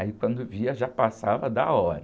Aí quando via, já passava da hora.